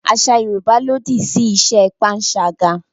Àṣà Yorùbá lòdì sí iṣẹ́ panṣágà